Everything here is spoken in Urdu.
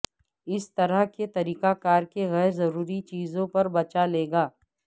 اس طرح کے طریقہ کار کے غیر ضروری چیزوں پر بچا لے گا